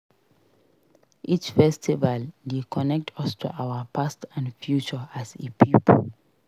Each festival dey connect us to our past and future as a pipo.